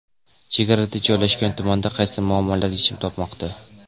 Chegarada joylashgan tumanda qaysi muammolar yechim topmoqda?.